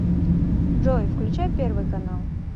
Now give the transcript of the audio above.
джой включай первый канал